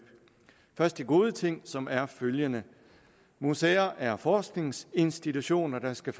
først de gode ting som er følgende museer er forskningsinstitutioner der skal